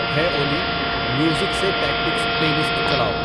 ہے اولی میوزک سے ٹیکٹکس پلےلسٹ چلاؤ